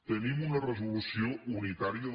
tenim una resolució unitària del